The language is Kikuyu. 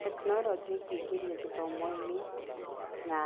Tekinorojĩ ĩngĩ ingĩrĩo gĩthomo-inĩ na